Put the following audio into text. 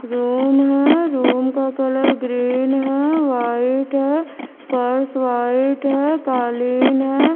Room है room का colour green है व्हाईट है फर्श व्हाईट है कालीन है।